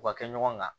U ka kɛ ɲɔgɔn kan